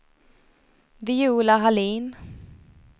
Viola Hallin